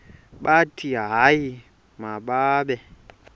bathi hayi mababe